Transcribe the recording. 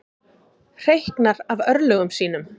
Hreyknar af örlögum sínum.